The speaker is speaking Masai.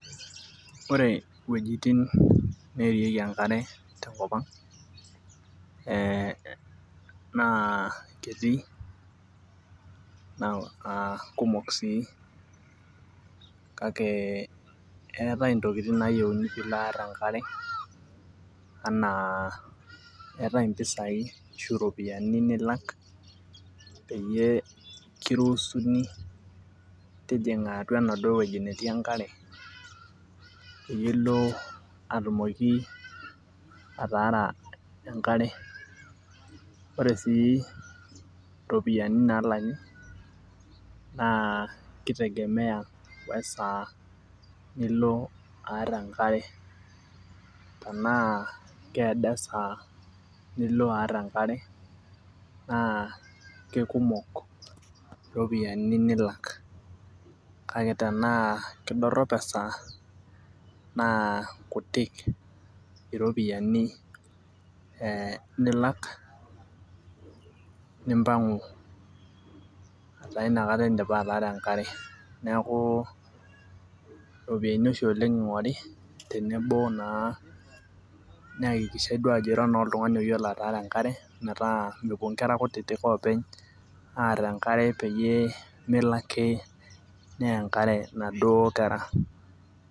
Ore wuejitin naarieki enkare tenkop aang na ketii kumok sii kake eetae ntokitin nayieuni pilo aar enkare ashu ropiyani nilak peyie kiruusuni tijinga atua enaduo wueji natii enkare pilo atumoki ataara enkare ore si ropiyani nalaki na kitegemea wesaa nilobaar enkare tanaa keedo esaa nilobaar enkaar na lekumok ropiyani nila k kake tana kedorop esaa na kutik iropiyiani nilak nimpangu inakata indipa ataara enkkare tenebo na niakikishae ajo iyolo ataara enkare metaa mepuo nkera kutitik aar enkare openy peyie melo ake neya enkare naduo kera.